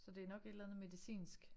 Så det nok et eller andet medicinsk